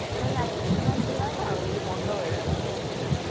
না না এক এক সময় কি হয় না ওই বন্ধ হয়ে যায় মাঝে তাই জন্যে